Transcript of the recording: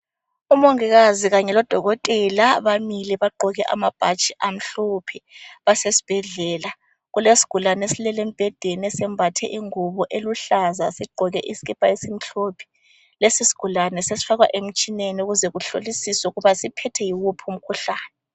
Umongikazi Kanye lodokotela bamile bagqoke amabhatshi amhlophe basesibhedlela kule sigulani esilele embhedeni simbathe ingubo eluhlaza sigqoka lesikipa isimhlophe lesi sigulani sesifakwa emtshineni ukuze kuhlolisise ukuba siphethwe yiwuphi umkhuhlane .